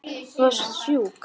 Þú varst sjúk.